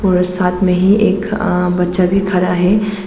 और साथ में ही एक आ बच्चा भी खड़ा है।